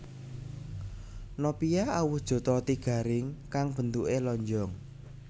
Nopia awujud roti garing kang bentukè lonjong